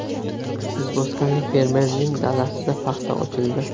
Izboskanlik fermerning dalasida paxta ochildi.